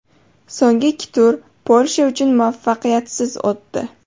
So‘nggi ikki tur Polsha uchun muvaffaqiyatsiz o‘tdi.